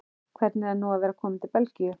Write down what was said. Hvernig er nú að vera kominn til Belgíu?